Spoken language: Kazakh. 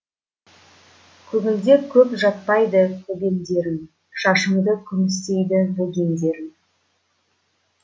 көңілде көп жатпайды көбеңдерім шашымды күмістейді бөгендерім